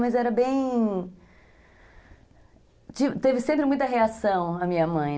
Mas era bem... Teve sempre muita reação a minha mãe.